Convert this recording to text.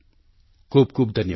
ખૂબ ખૂબ ધન્યવાદ